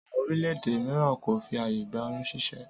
Àwọn orílẹ̀-èdè míràn kò fi ààyè gba oyún ṣíṣẹ́